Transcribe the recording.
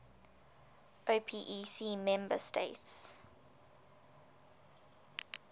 opec member states